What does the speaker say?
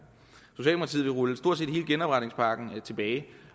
rulle stort set hele genopretningspakken tilbage